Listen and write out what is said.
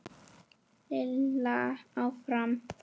Lilla áfram.